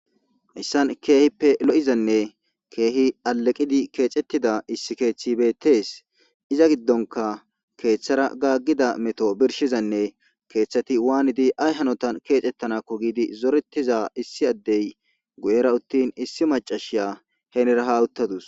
issan keehippe lo7izanne keehi aleqidi keexettida issi keeththi bettees iza giddonka keeththara gaaggida meto birshizanne keeththati waanidi ay hanotan keexettanakko giidi zorettiza issi addey guyera uttin issi macashiya henera hawuttadus